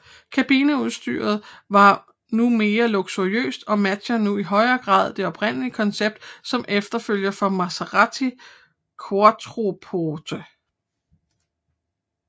Kabineudstyret var nu mere luksuriøst og matchede nu i højere grad det oprindelige koncept som efterfølger for Maserati Quattroporte